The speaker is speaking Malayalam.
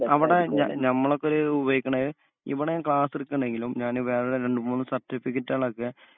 അവടെ ഞ ഞമ്മളൊക്കൊര് ഉപയോഗിക്കണെ ഇവടേം ക്ലാസ്സെടുക്കണെങ്കിലും ഞാന് വേറെ രണ്ടുമൂന്നു സർട്ടിഫിക്കറ്റോളൊക്കെ